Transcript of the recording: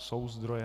Jsou zdroje?